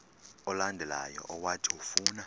olandelayo owathi ufuna